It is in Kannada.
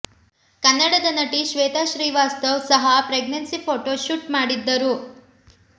ಕನ್ನಡದ ನಟಿ ಶ್ವೇತಾ ಶ್ರೀವಾಸ್ತವ್ ಸಹ ಪ್ರೆಗ್ನೆನ್ಸಿ ಫೋಟೋ ಶುಟ್ ಮಾಡಿದ್ದರು